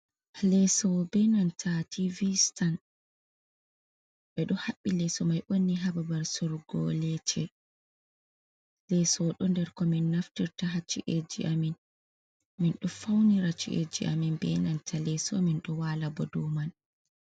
Leeso be nanta tiivi-stan, ɓe ɗo haɓɓi leeso mai onni ha babal soorugo leeche. Leeso ɗo nder ko min naftirta ha chi’eji amin, min ɗo fawnira chi’eji amin be nanta leeso, min ɗo waala bo dow man.